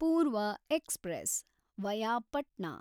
ಪೂರ್ವ express (via Patna)